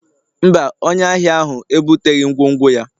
mba, onye ahịa ahụ ebuteghị ngwongwo ya